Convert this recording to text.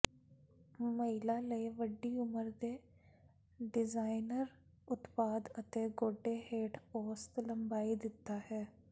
ਮਹਿਲਾ ਲਈ ਵੱਡੀ ਉਮਰ ਦੇ ਡਿਜ਼ਾਇਨਰ ਉਤਪਾਦ ਅਤੇ ਗੋਡੇ ਹੇਠ ਔਸਤ ਲੰਬਾਈ ਦਿੱਤਾ ਹੈ